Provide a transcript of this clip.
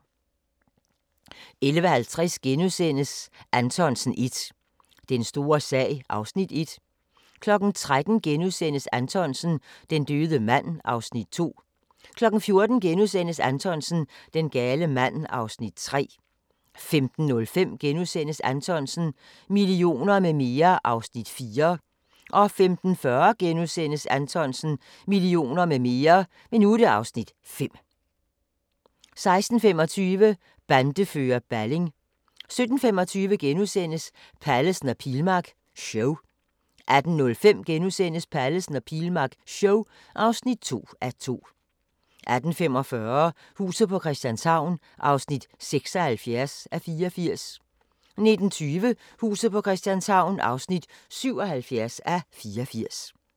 11:50: Anthonsen 1 – Den store sag (Afs. 1)* 13:00: Anthonsen - Den døde mand (Afs. 2)* 14:00: Anthonsen - Den gale mand (Afs. 3)* 15:05: Anthonsen - millioner med mere (Afs. 4)* 15:40: Anthonsen - millioner med mere (Afs. 5)* 16:25: Bandefører Balling 17:25: Pallesen og Pilmark show (1:2)* 18:05: Pallesen og Pilmark show (2:2)* 18:45: Huset på Christianshavn (76:84) 19:20: Huset på Christianshavn (77:84)